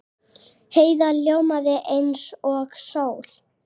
Heiða ljómaði eins og sól.